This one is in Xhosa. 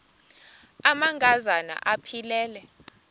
amanka zana aphilele